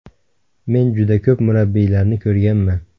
Men juda ko‘p murabbiylarni ko‘rganman.